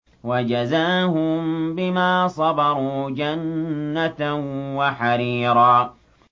وَجَزَاهُم بِمَا صَبَرُوا جَنَّةً وَحَرِيرًا